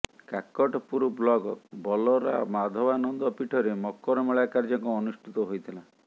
Kakatpur block ବଲରା ମାଧବାନନ୍ଦ ପୀଠରେ ମକର ମେଳା କାର୍ଯ୍ୟକ୍ରମ ଅନୁଷ୍ଠିତ ହୋଇଥିଲା